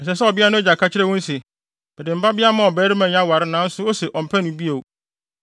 Ɛsɛ sɛ ɔbea no agya ka kyerɛ wɔn se, “Mede me babea maa ɔbarima yi aware nanso ose ɔmpɛ no bio.